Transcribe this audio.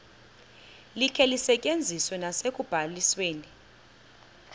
likhe lisetyenziswe nasekubalisweni